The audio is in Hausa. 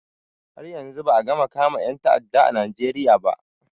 Har yanzu ba a gama kama ƴan ta'adda a najeriya ba